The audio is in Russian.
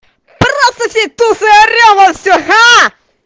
здравствуйте туса орем мы все аа